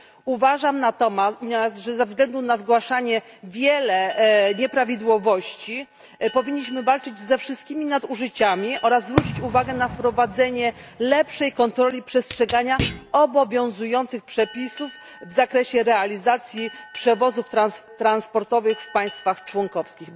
Uważam natomiast, że ze względu na zgłaszane liczne nieprawidłowości powinniśmy walczyć ze wszystkimi nadużyciami oraz zwrócić uwagę na wprowadzenie lepszej kontroli przestrzegania obowiązujących przepisów w zakresie realizacji przewozów transportowych w państwach członkowskich.